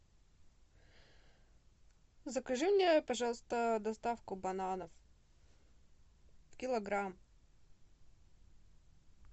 закажи мне пожалуйста доставку бананов килограмм